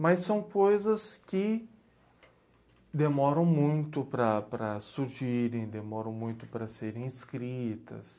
Mas são coisas que demoram muito para para surgirem, demoram muito para serem escritas.